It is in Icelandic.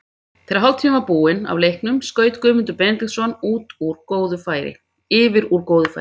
Þegar hálftími var búinn af leiknum skaut Guðmundur Benediktsson yfir úr góðu færi.